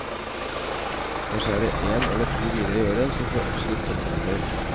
Kanskje er det én eller to viner i året som får absolutt toppkarakter.